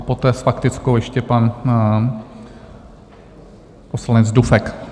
A poté s faktickou ještě pan poslanec Dufek.